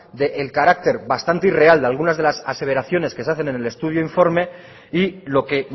del carácter bastante irreal de algunas aseveraciones que se hacen en el estudio informe y lo que